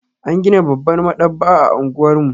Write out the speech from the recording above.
An gina babbar maɗaba'a a unguwar mu.